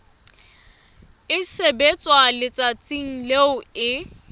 e sebetswa letsatsing leo e